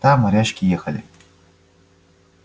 там морячки ехали